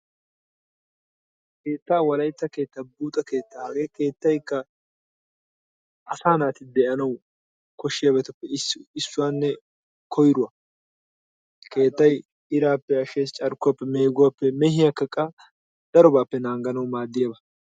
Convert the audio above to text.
Keetta Wolaytta keettaa, buuxxa keettaa, hage keettaykka asaa naati de'anawu koshshiyaabatuppe issuwanne koyruwa. Keettay irappe ashshees, carkkuwappe, meeguwaappe meehiyakka qa daro qohiyaabatuppe naaganawu maaddiyaaga.